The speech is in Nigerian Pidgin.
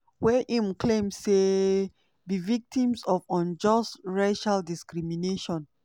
wey im claim say "be victims of unjust racial discrimination".